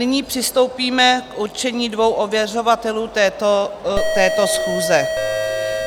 Nyní přistoupíme k určení dvou ověřovatelů této schůze.